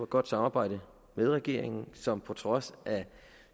godt samarbejde med regeringen som på trods af